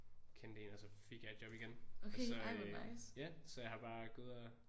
Kendte én og så fik jeg et job igen og så øh ja så jeg har bare gået og